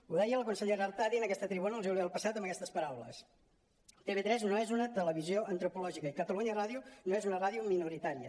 ho deia la consellera artadi en aquesta tribuna el juliol passat amb aquestes paraules tv3 no és una televisió antropològica i catalunya ràdio no és una ràdio minoritària